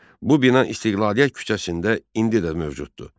Bu bina İstiqlaliyyət küçəsində indi də mövcuddur.